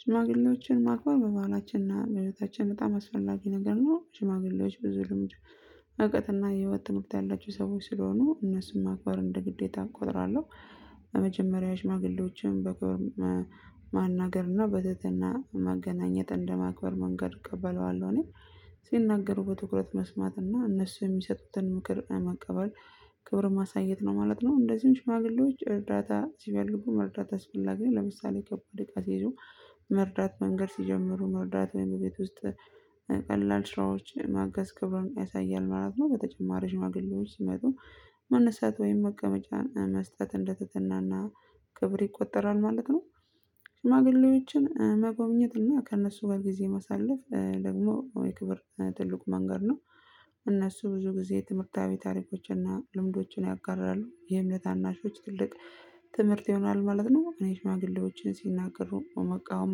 ሽማግሌዎችን ማግባት በባህላችንና ለህይወታችን በጣም አስፈላጊ ነገር ነው። ሽማግሌዎች ብዙ ልምድ እውቀትና የህይወት ትምህርት ያላቸው ሰዎች ስለሆኑ እነሱን ማክበር እንደ ግዴታም ቆጥራለሁ። በመጀመሪያ ሽማግሌዎችን በክብር ማናገርና በትህትና ማገናኘት እንደማክበር መንገድ እቀበለዋለሁ እኔ ሲናገሩ በትኩረት መስማት እና እነሱ የሚሰጡትን ምክር መቀበል ክብር ማሳየት ነው ማለት ነው። እንደዚሁም ሽማግሌዎች እርዳታ ሲፈልጉ መርዳት አስፈላጊ ነው። ለምሳሌ ከፍ ወደ ቃል ይዞ መንገድ ሲጀምሩ መርዳት ቤት ውስጥ ቀላል ስራዎች ማገዝ ክብሩን ያሳያል ማለት ነው። በተጨማሪም ሽማግሌዎች ሲመጡ መነሳት ወይም መቀመጫን መስጠት እንደትትናና ክብር ይቆጠራል ማለት ነው። ሽማግሌዎችን መጎብኘት እና ከእነሱ ጋር ጊዜ መሳለፍ ደግሞ የክብር ትልቅ መንገድ ነው። እነሱ ብዙ ጊዜ ትምህርታዊ ታሪኮችን እና ልምዶችን ያጋራሉ የእምነት ታናሾች ትልቅ ትምህርት ይሆናል። ማለት ነው እኔ ሽማግሌዎችን ሲናገሩ መቃወም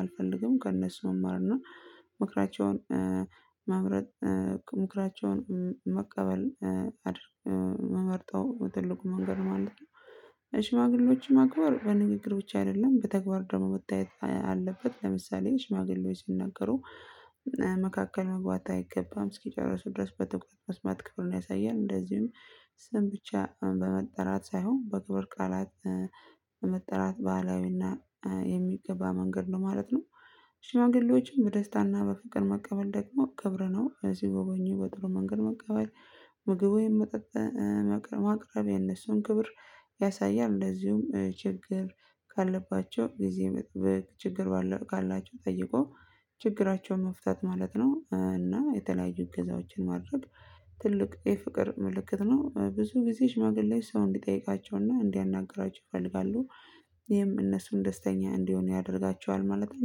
አልፈልግም። ከእነሱ መማር እና ምክራቸውን መምረጥ ምክራቸውን መቀበል መመርጠው ትልቁ መንገድ ማለት ነው። ሽማግሌዎች ማክበር በንግግሮች ብቻ አይደለም በተግባር ደግሞ ወታየት አለበት ለምሳሌ ሽማግሌዎች ሲነገሩ መካከል መግባት አይገባም። እስኪጨርሱ ድረስ በተ መስማት ክብሩን ያሳያል። እንደዚሁም ስም ብቻ በመጠራት ሳይሆን በክብር ቃላት በመጠራት ባህላዊና የሚገባ መንገድ ነው ማለት ነው። ሽማግሌዎች በደስታና በፍቅር መቀበል ደግሞ ክብር ነው ሰጎበኙ በጥሩ መንገድ መቀበል ምግብ ወይም ማቅረብ የእሱን ክብር ያሳያል እንደዚሁም ችግር ካለባቸው ጊዜ መክብር ችግር ባለው ካላቸው ጠይቆ ችግራቸው መፍታት ማለት ነው እና የተለያዩ እገዛዎችን ማድረግ ትልቅ የፍቅር ምልክት ነው። ብዙ ጊዜ ሽማግሌ ሰው እንዲጠይቃቸውና እንዲያናግራቸው ይፈልጋሉ። ይሄም እነሱን ደስተኛ እንዲሆን ያደርጋቸዋል። ማለት ነው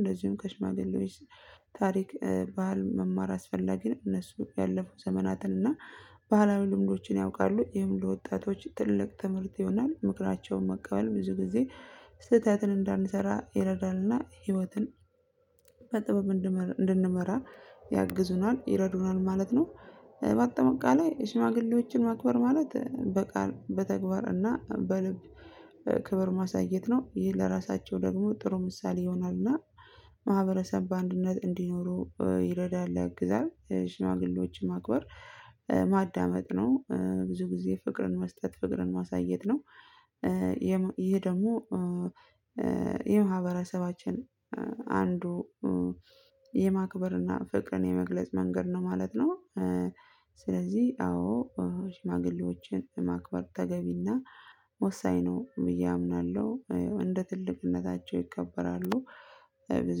እንደዚሁም ከሽማግሌዎች ታሪክ ባህል መማር አስፈላጊ ነው። እነሱ ያለፉ ዘመናትን እና ባህላዊ ልምዶችን ያውቃሉ። ይህን ለወጣቶች ትልቅ ትምህርት ይሆናል። ምክራያቸውን መቀበል ብዙ ጊዜ ስህተትን እንዳንሰራ ይረዳልና ህይወትን በጥበብ እንድንመራ ያግዙናል ይረዱናል ማለት ነው። በአጠማቃላይ ሽማግሌዎችን ማክበር ማለት በቃል እና በልብ ክብር ማሳየት ነው ይህን ለራሳቸው ደግሞ ጥሩ ምሳሌ ይሆናልና ማህበረሰብ በአንድነት እንዲኖሩ ይረዳል። ያግዛል ሽማግሌዎች ማክበር ማዳመጥ ነው ብዙ ጊዜ ፍቅርን መስጠት ፍቅርን ማሳየት ነው። ይሄ ደግሞ የማህበረሰባችን አንዱ የማክበርና ፍቅርን የመግለጽ መንገድ ነው። ማለት ነ። ስለዚህ አዎ ሽማግሌዎችን ማክበር ተገቢና ወሳኝ ነው ብዬ አምናለሁ። እንደ ትልቅነታቸው ይከበራ። ብዙ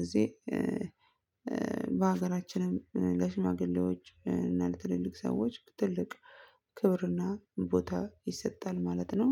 ጊዜ በሀገራችንም ለሽማግሌዎች እና ለትልልቅ ሰዎች ትልቅ ክብርና ቦታ ይሰጣል ማለት ነው።